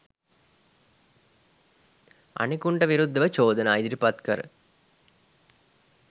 අනෙකුන්ට විරුද්ධව චෝදනා ඉදිරිපත් කර